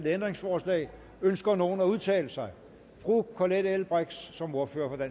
ændringsforslag ønsker nogen at udtale sig fru colette l brix som ordfører